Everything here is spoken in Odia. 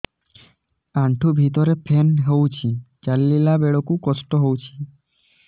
ଆଣ୍ଠୁ ଭିତରେ ପେନ୍ ହଉଚି ଚାଲିଲା ବେଳକୁ କଷ୍ଟ ହଉଚି